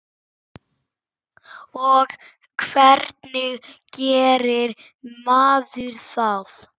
Og hvernig gerir maður það?